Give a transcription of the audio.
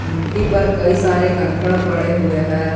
मिट्टी पर कई सारे कंकड़ पड़े हुए हैं।